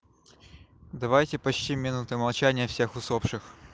давайте почтим минутой молчания всех усопших